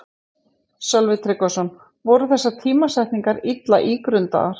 Sölvi Tryggvason: Voru þessar tímasetningar illa ígrundaðar?